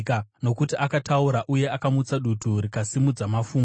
Nokuti akataura uye akamutsa dutu rikasimudza mafungu.